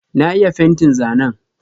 Na iya fentin zanen.